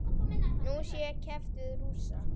Nú sé keppt við Rússa.